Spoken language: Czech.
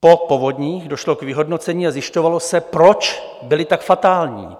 Po povodních došlo k vyhodnocení a zjišťovalo se, proč byly tak fatální.